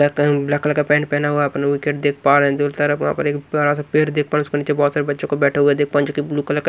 black colour में black colour का pant पहना हुआ अपना विकेट देख पा रहें हैं दोनों तरफ वहां पे एक बड़ा सा पेड़ देख पा रहे हैं उसके नीचे बहोत सारे बच्चों को बैठा हुवा देख पंच के ब्लू कलर का--